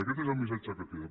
i aquest és el missatge que queda